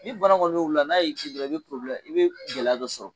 Ni bana kɔni mɛ wula n'a y'i kin dɔrɔn i bɛ i bɛ gɛlɛya dɔ sɔrɔ.